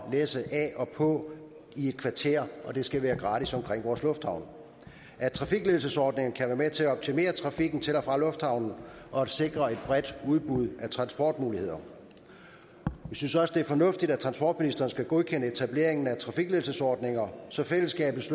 læsse af og på i et kvarter at det skal være gratis omkring vores lufthavne og at trafikledelsesordninger kan være med til at optimere trafikken til og fra lufthavnene og at sikre et bredt udbud af transportmuligheder vi synes også det er fornuftigt at transportministeren skal godkende etableringen af trafikledelsesordninger så fællesskabets